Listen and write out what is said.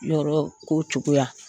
yɔrɔko cogoya